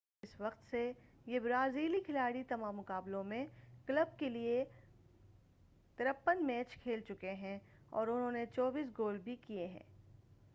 اس وقت سے یہ برازیلی کھلاڑی تمام مقابلوں میں کلب کیلئے 53 میچ کھیل چکے ہیں اور انہوں نے 24 گول بھی کیئے ہیں